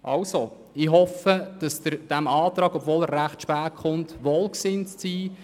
Also ich hoffe, dass Sie diesem Antrag wohlgesonnen sind, obwohl er recht spät gekommen ist.